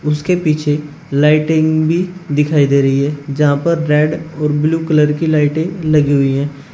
उसके पीछे लाइटिंग भी दिखाई दे रही है जहां पर रेड और ब्लू कलर की लाइटे लगी हुई है।